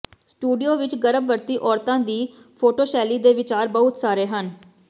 studio ਵਿਚ ਗਰਭਵਤੀ ਔਰਤਾਂ ਦੀ ਫੋਟੋਸ਼ੈਲੀ ਦੇ ਵਿਚਾਰ ਬਹੁਤ ਸਾਰੇ ਹਨ